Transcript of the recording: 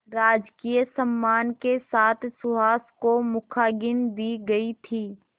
राजकीय सम्मान के साथ सुहास को मुखाग्नि दी गई थी